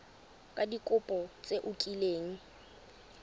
ka dikopo tse o kileng